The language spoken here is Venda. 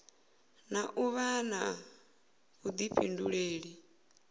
na u vha na vhuḓifhinduleli